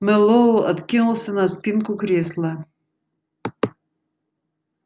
мэллоу откинулся на спинку кресла